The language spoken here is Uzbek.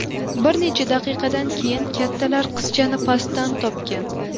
Bir necha daqiqadan keyin kattalar qizchani pastdan topgan.